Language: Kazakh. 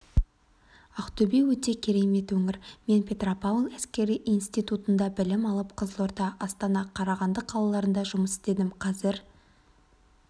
ақтөбеөте керемет өңір мен петропавл әскери институтында білім алып қызылорда астана қарағанды қалаларында жұмыс істедім қазір